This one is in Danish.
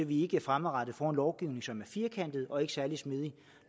vi ikke fremadrettet får en lovgivning som er firkantet og ikke særlig smidig